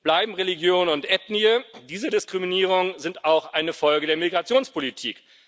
Bleiben Religion und Ethnie Diese Diskriminierungen sind auch eine Folge der Migrationspolitik.